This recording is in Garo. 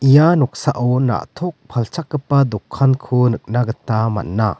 ia noksao na·tok palchakgipa dokanko nikna gita man·a.